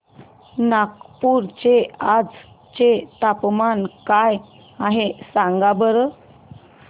नागपूर चे आज चे तापमान काय आहे सांगा बरं